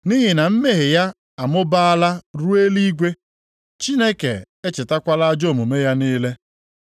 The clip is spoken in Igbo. Nʼihi na mmehie ya amụbaala ruo eluigwe. Chineke echetakwala ajọ omume ya niile.